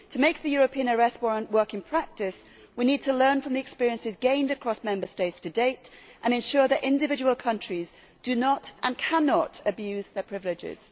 To make the European arrest warrant work in practice, we need to learn from the experiences gained across Member States to date and ensure that individual countries do not, and cannot, abuse their privileges.